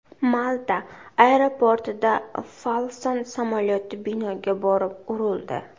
Malta aeroportida Falcon samolyoti binoga borib urildi.